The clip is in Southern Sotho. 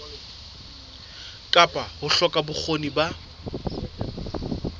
kapa ho hloka bokgoni ba